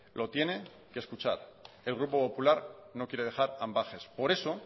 lo tiene que escuchar el grupo popular no quiere dejar ambages por eso